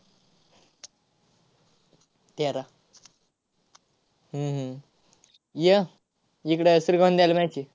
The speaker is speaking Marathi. तेरा. हम्म हम्म य इकडं match आहे.